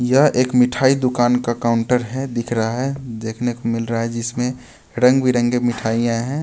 यह एक मिठाई दुकान का काउंटर है दिख रहा है देखने को मिल रहा है जिसमें रंगबिरंगे मिठाइयां हैं.